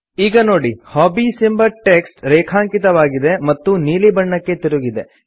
ಈಗ ನೋಡಿ ಹಾಬೀಸ್ ಎಂಬ ಟೆಕ್ಸ್ಟ್ ರೇಖಾಂಕಿತವಾಗಿದೆ ಮತ್ತು ನೀಲಿ ಬಣ್ಣಕ್ಕೆ ತಿರುಗಿದೆ